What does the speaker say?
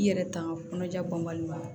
I yɛrɛ tanga kɔnɔja bɔnbali ma